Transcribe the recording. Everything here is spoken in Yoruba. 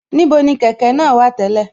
Níbo ni kẹ̀kẹ́ náà wà tẹ́lẹ̀